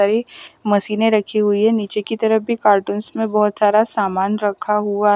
कई मशीनें रखी हुई हैं नीचे की तरफ भी कार्टूंस में बहुत सारा सामान रखा हुआ--